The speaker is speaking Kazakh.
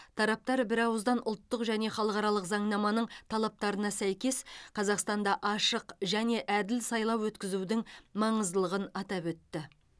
тараптар бірауыздан ұлттық және халықаралық заңнаманың талаптарына сәйкес қазақстанда ашық және әділ сайлау өткізудің маңыздылығын атап өтті